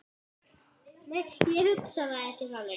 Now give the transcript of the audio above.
Ég hugsa það ekki þannig.